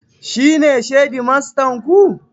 Shi ne shedimastan ku?